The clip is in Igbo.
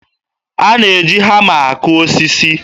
A na-eji hama akụ osisi